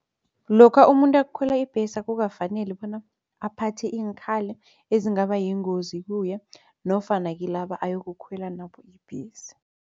Lokha umuntu ayokukhwela ibhesi akukafaneli bona aphathe iinkhali ezingaba yingozi kuye nofana kilaba ayokukhwela nabo ibhesi.